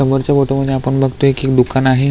समोरच्या फोटो मधे आपण बगतोय की दुकान आहे.